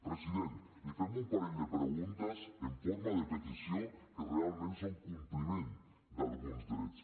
president li fem un parell de preguntes en forma de petició que realment són compliment d’alguns drets